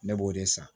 Ne b'o de san